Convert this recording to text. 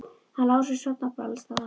Hann Lási sofnar bara alls staðar.